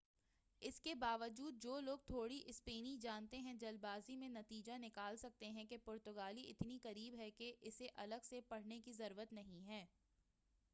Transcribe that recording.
اس کے با وجود جو لوگ تھوڑی اسپینی جانتے ہیں جلد بازی میں نتیجہ نکال سکتے ہیں کہ پرتگالی اتنی قریب ہے کہ اسے الگ سے پڑھنے کی ضرورت نہیں ہے